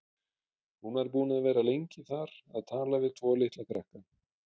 Hún var búin að vera lengi þar að tala við tvo litla krakka.